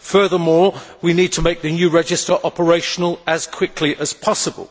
Furthermore, we need to make the new register operational as quickly as possible